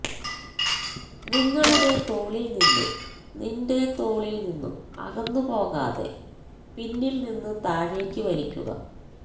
നിങ്ങളുടെ തോളിൽ നിന്ന് നിൻറെ തോളിൽ നിന്നും അകന്നുപോകാതെ പിന്നിൽ നിന്ന് താഴേക്ക് വലിക്കുക